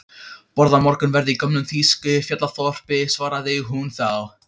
Borða morgunverð í gömlu þýsku fjallaþorpi, svaraði hún þá.